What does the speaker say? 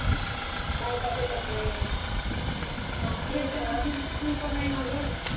बायका भेटत नाही